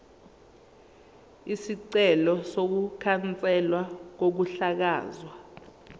isicelo sokukhanselwa kokuhlakazwa